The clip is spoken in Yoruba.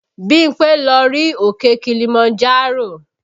Bímpé lọ rí òkè Kilimanjaro